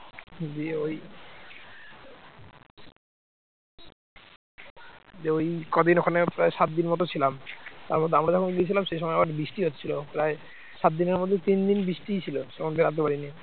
দিয়ে ওই কদিন ওই প্রায় সাত দিনের মতো ছিলাম, তারপর আমরা যখন গিয়েছিলাম সেই সময় আবার বৃষ্টি হচ্ছিল প্রায় সাত দিনের মধ্যে তিন দিন বৃষ্টিই ছিল তখন বেরোতে পারিনি